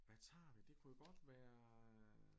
Hvad tager vi det kunne jo godt være